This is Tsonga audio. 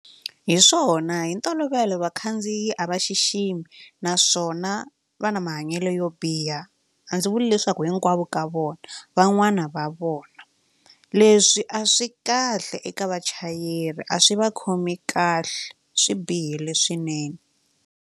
Hi swona hi ntolovelo vakhandziyi a va xiximi naswona va na mahanyelo yo biha a ndzi vuli leswaku hinkwavo ka vona van'wani va vona leswi a swi kahle eka vachayeri a swi va khomi kahle swi bihile swinene.